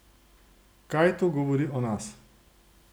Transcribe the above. Kaj to govori o nas?